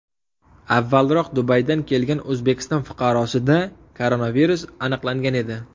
Avvalroq Dubaydan kelgan O‘zbekiston fuqarosida koronavirus aniqlangan edi .